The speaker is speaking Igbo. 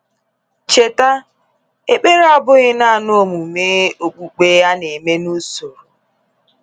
Cheta, ekpere abụghị naanị omume okpukpe a na-eme n’usoro.